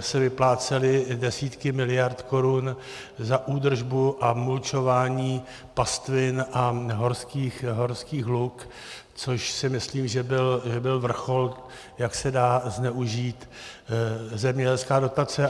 se vyplácely desítky miliard korun za údržbu a mulčování pastvin a horských luk, což si myslím, že byl vrchol, jak se dá zneužít zemědělská dotace.